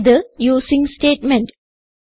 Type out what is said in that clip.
ഇത് using statement